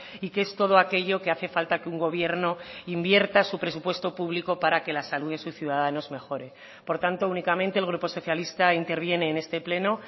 y qué es todo aquello que hace falta que un gobierno invierta su presupuesto público para que la salud de sus ciudadanos mejore por tanto únicamente el grupo socialista interviene en este pleno